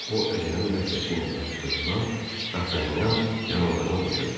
O əcnəbi ləhcəsi ilə danışdığından Dartanyan yanıldığını başa düşdü.